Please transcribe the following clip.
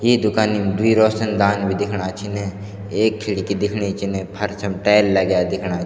ये दुकनी म द्वि रोशनदान भी दिखणा छिन एक खिड़की दिखणी छिन फ़र्स म टेल लग्याँ दिखणा।